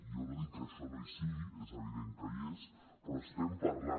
jo no dic que això no hi sigui és evident que hi és però estem parlant